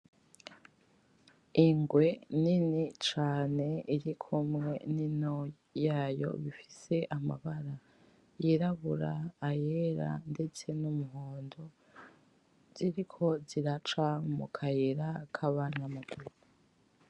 Ingwe nini cane irikumwe ninto yayo bifise amabara yirabura ayera ndetse n'umuhondo ziriko ziraca mukayira kabanyamaguru